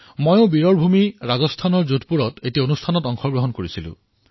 মইও বীৰৰ ভূমি ৰাজস্থানৰ যোধপুৰৰ এটা কাৰ্যসূচীত অংশগ্ৰহণ কৰিলো